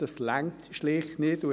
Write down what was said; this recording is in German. Das genügt schlicht nicht.